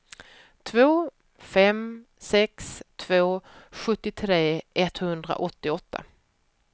två fem sex två sjuttiotre etthundraåttioåtta